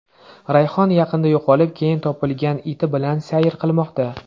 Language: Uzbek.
Rayhon yaqinda yo‘qolib, keyin topilgan iti bilan sayr qilmoqda.